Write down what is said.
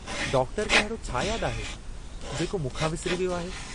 Doctor खे अहिड़ो छा याद आहे, जेको मूंखां विसरी वियो आहे?